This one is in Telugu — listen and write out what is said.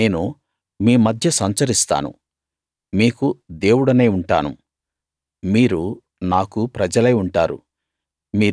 నేను మీ మధ్య సంచరిస్తాను మీకు దేవుడినై ఉంటాను మీరు నాకు ప్రజలై ఉంటారు